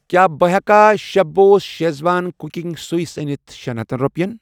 کیٛاہ بہٕ ہٮ۪کا chef boss schezwan cooking sauce أنِتھ شیٚن ہتنَ رۄپٮ۪ن۔